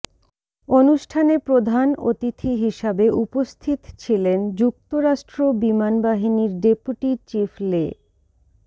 অনুষ্ঠানে প্রধান অতিথি হিসাবে উপস্থিত ছিলেন যুক্তরাষ্ট্র বিমানবাহিনির ডেপুটি চিফ লে